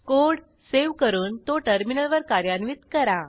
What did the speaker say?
code save करून तो टर्मिनलवर कार्यान्वित करा